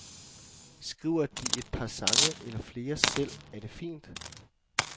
Skriver de et par sange eller flere selv, er det fint.